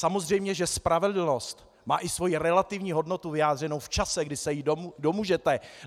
Samozřejmě že spravedlnost má i svoji relativní hodnotu vyjádřenou v čase, kdy se jí domůžete.